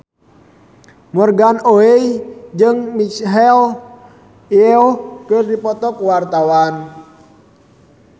Morgan Oey jeung Michelle Yeoh keur dipoto ku wartawan